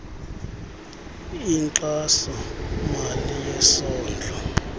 inkxaso mali yesondlo